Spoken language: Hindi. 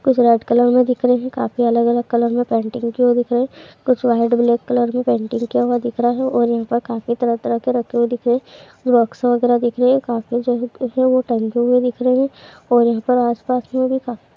कुछ रेड कलर में दिख रहे हैं काफी अलग-अलग कलर में पेंटिंग की हुई दिख रही है कुछ व्हाइट ब्लैक कलर मे पेंटिंग किया हुआ दिख रहा है और यहाँ पर काफ़ी तरह-तरह के रखे हुए दिख रहे हैं वगैरा दिख रहे हैं काफी जगह जो है टंगे हुए दिख रहे हैं और यहाँ पर आस-पास में भी --